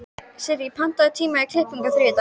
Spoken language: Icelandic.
Sirrí, pantaðu tíma í klippingu á þriðjudaginn.